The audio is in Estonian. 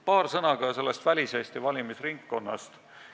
Paar sõna ka väliseesti valimisringkonnast.